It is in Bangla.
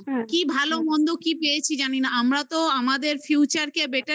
পেয়েছি ভালোমন্দ জানি না। আমরা তো আমাদের future